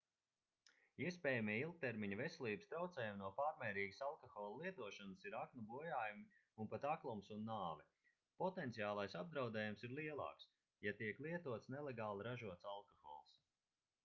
iespējamie ilgtermiņa veselības traucējumi no pārmērīgas alkohola lietošanas ir aknu bojājumi un pat aklums un nāve potenciālais apdraudējums ir lielāks ja tiek lietots nelegāli ražots alkohols